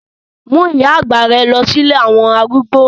Mú ìyá àgbà rẹ lọ sí ilé àwọn arúgbó